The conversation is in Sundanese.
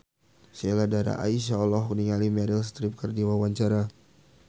Sheila Dara Aisha olohok ningali Meryl Streep keur diwawancara